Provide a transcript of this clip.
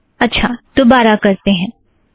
अच्छा दोबारा करते हैं